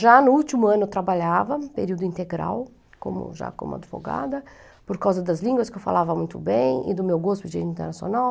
Já no último ano eu trabalhava, período integral, como já como advogada, por causa das línguas que eu falava muito bem e do meu gosto de língua internacional.